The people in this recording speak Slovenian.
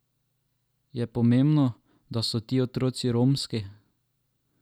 Je pomembno, da so ti otroci romski?